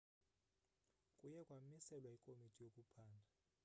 kuye kwamiselwa ikomiti yokuphanda